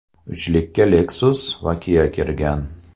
Uchlikka Lexus va Kia kirgan.